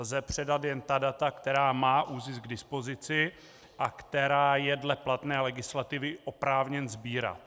Lze předat jen ta data, která má ÚZIS k dispozici a která je dle platné legislativy oprávněn sbírat.